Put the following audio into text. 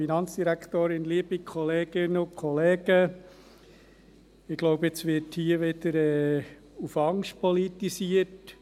Ich glaube, jetzt wird hier wieder auf Angst politisiert.